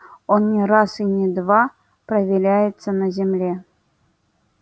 он не раз и не два проверяется на земле